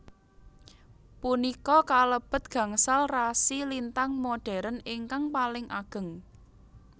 Punika kalebet gangsal rasi lintang modhern ingkang paling ageng